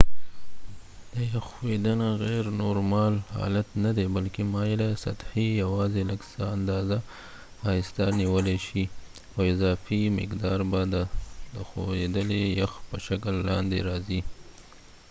د یخ ښوییدنه غیر نورمال حالت ندی بلکې مایله سطحې یواځې لږ څه اندازه آهسته نیولای شي او اضافي مقدار به د د ښویدلي یخ په شکل لاندې راځې